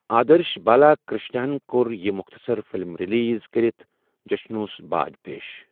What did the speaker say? آدرش بالاکرشنا ہَن کوٚر یہِ مختصر فلم ریلیز کٔرتھ جشنوس باج پیش۔